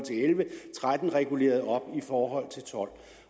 tretten reguleret op i forhold til to